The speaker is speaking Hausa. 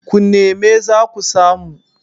ku neme za ku samu